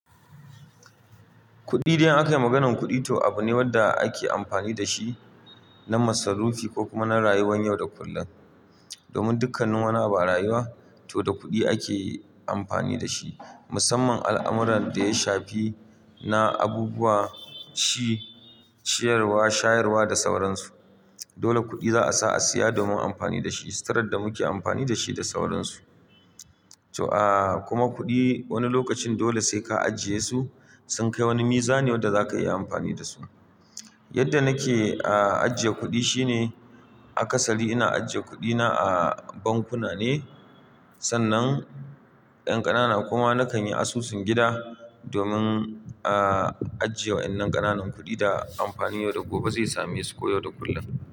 Kuɗi, idan akayi maganar kuɗi, to abune wanda ake amfani dashi na masarufi ko kuma na rayuwan yau da kullum. Domin dukkanin wani abu a rayuwa, to da kuɗi ake amfani dashi. Musamman al'amuran da ya shafi na abubuwa, ci, ciyarwa, shayarwa da sauransu. Dole kuɗi za a sa a siya domin amfani da shi, sitirar da muke amfani dashi da sauransu. To aa, kuma kuɗi wani lokacin dole sai ka ajiye su, sun kai wani mizan wanda zaka iya amfani dasu. Yadda nake aa, ajiye kuɗi shine, akasari ina ajiye kuɗina a bankuna ne. Sannan ƴan ƙanana kuma nakan yi asusun gida domin aa, ajiye wa ƴan nan ƙananan kuɗi da amfani yau da gobe zai same su ko yau da kullum.